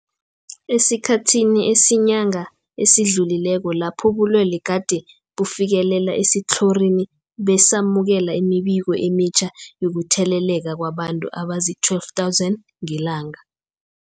Esikhathini esiyinyanga esidlulileko lapho ubulwele gade bufikelele esitlhorini, besamukela imibiko emitjha yokutheleleka kwabantu abazii-12 000 ngelanga.